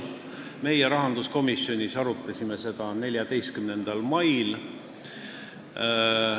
Meie arutasime seda rahanduskomisjonis 14. mail.